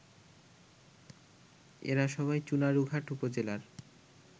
এরা সবাই চুনারুঘাট উপজেলার